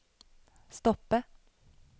stoppe